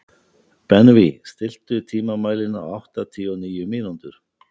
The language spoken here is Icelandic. Benvý, stilltu tímamælinn á áttatíu og níu mínútur.